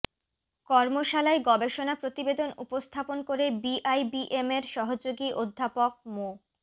কর্মশালায় গবেষণা প্রতিবেদন উপস্থাপন করে বিআইবিএমের সহযোগী অধ্যাপক মো